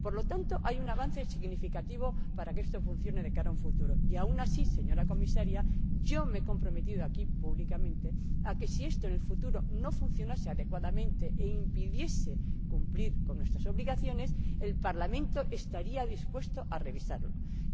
Por lo tanto, hay un avance significativo para que esto funcione de cara al futuro y aún así, señora Comisaria, yo me he comprometido aquí públicamente a que si esto en el futuro no funcionase adecuadamente e impidiese cumplir con nuestras obligaciones, el Parlamento estaría dispuesto a revisar el procedimiento.